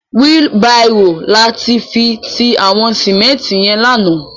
Wili bàró làfi ti àwòn simènti yèn làná